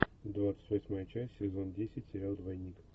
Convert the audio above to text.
двадцать восьмая часть сезон десять сериал двойник